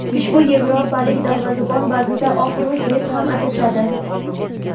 Ushbu yevropalik darvozabonni ba’zida "Oq rus" deb ham atashadi.